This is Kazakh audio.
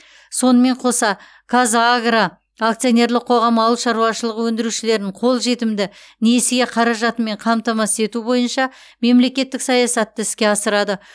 сонымен қоса қазагро акционерлік қоғамы ауыл шаруашылығы өндірушілерін қолжетімді несие қаражатымен қамтамасыз ету бойынша мемлекеттік саясатты іске асырады